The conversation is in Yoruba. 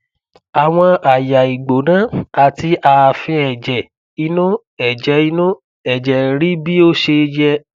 àwòn àyà ìgbóná àti ààfin ẹjẹ inú ẹjẹ inú ẹjẹ ń rí bí ó ṣe yẹ